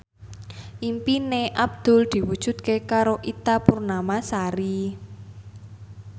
impine Abdul diwujudke karo Ita Purnamasari